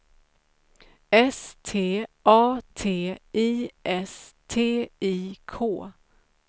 S T A T I S T I K